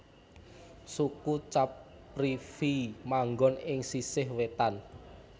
Suku Caprivi manggon ing sisih wétan